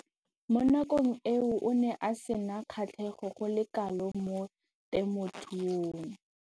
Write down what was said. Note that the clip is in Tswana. Mo nakong eo o ne a sena kgatlhego go le kalo mo temothuong.